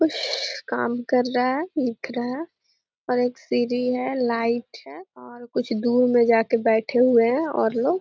कुछ काम कर रहा है देख रहा है। और एक सीढ़ी है। लाइट है और कुछ दूर मे जाकर बैठे हुए है और लोग --